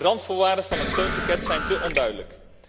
De randvoorwaarden van het steunpakket zijn te onduidelijk.